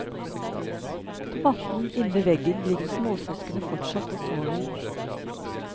På matten innved veggen ligger småsøskenene fortsatt og sover.